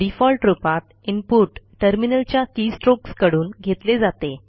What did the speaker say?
default रूपात input terminal च्या keystrokes कडून घेतले जाते